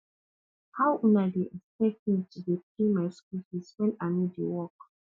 how una dey expect me to dey pay my school fees wen i no dey work